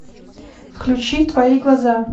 включи твои глаза